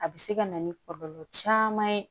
A bɛ se ka na ni kɔlɔlɔ caman ye